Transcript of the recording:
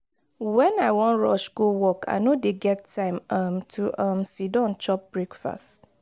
wen i wan rush go work i no dey get time um to um siddon chop breakfast.